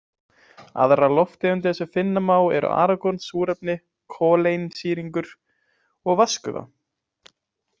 Aðrar lofttegundir sem finna má eru argon, súrefni, koleinsýringur og vatnsgufa.